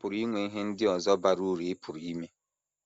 A pụrụ inwe ihe ndị ọzọ bara uru ị pụrụ ime.